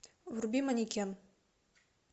вруби манекен